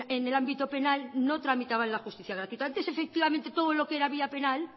en el ámbito penal no tramitaban la justicia gratuita antes efectivamente todo lo que era vía penal